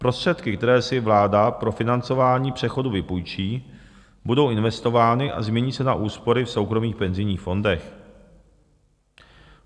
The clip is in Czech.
Prostředky, které si vláda pro financování přechodu vypůjčí, budou investovány a změní se na úspory v soukromých penzijních fondech.